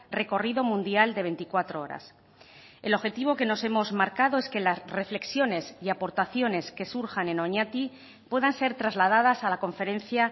recorrido mundial de veinticuatro horas el objetivo que nos hemos marcado es que las reflexiones y aportaciones que surjan en oñati puedan ser trasladadas a la conferencia